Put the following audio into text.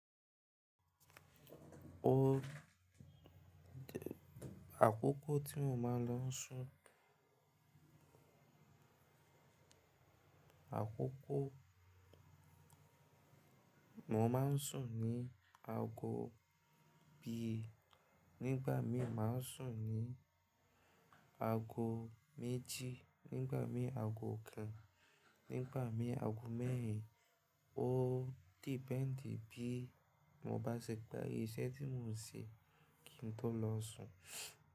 O di àkókò tí mo máa ń lọ sùn. Àkókò mo máa ń sùn ni aago bíi nígbà mí, màá sùn ní aago méjì nígbà mí, aago kan nígbà mí, aago mẹ́rin. Ó dependi bí mo bá ṣèpè iṣẹ́ tí mò ń ṣe kí n tó lọ sùn.